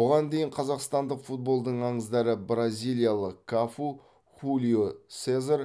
бұған дейін қазақстандық футболдың аңыздары бразилиялық кафу хулио сезар